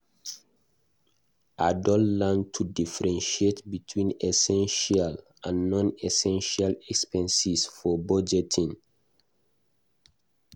I don learn to differentiate between essential and non-essential expenses for budgeting.